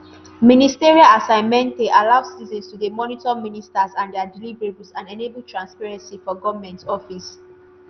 ministerial assessment:e allow citizens to dey monitor ministers and dia deliverables and enable transparency for goment office.